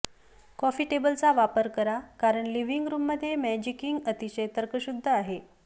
coffee टेबलचा वापर करा कारण लिव्हिंग रूममध्ये मॅजिकिंग अतिशय तर्कशुद्ध आहे